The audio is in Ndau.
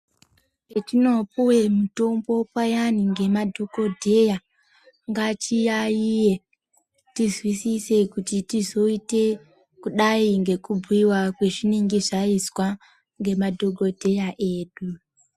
Petinopuwe mutombo payani ngemadhokodheya ngatiyayiye tizwisise kuti tizoite kudai ngekubhuyiwa kwezvinenge zvaizwa ngemadhokodheya edu.